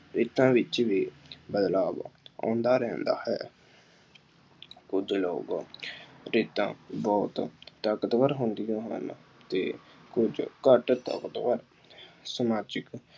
ਰੀਤਾਂ ਵਿੱਚ ਵੀ ਬਦਲਾਅ ਆਉਂਦਾ ਰਹਿੰਦਾ ਹੈ। ਕੁੱਝ ਲੋਕ ਰੀਤਾਂ ਬਹੁਤ ਤਾਕਤਵਰ ਹੁੰਦੀਆਂ ਹਨ ਅਤੇ ਕੁੱਝ ਘੱਟ ਤਾਕਤਵਰ। ਸਮਾਜਿਕ